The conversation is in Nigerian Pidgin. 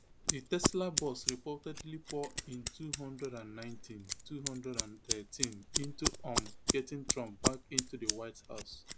di tesla boss reportedly pour in two hundred and ninety two hundred and thirteen into um getting trump back into di white house